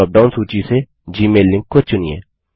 dropdown सूची से Gmail link को चुनिए